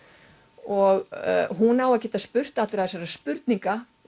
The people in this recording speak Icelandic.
og hún á að geta spurt þessara spurninga